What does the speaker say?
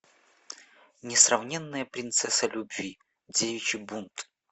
несравненная принцесса любви девичий бунт